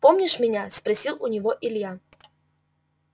помнишь меня спросил у него илья